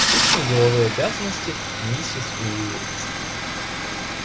скучные деловые обязанности миссис уилкс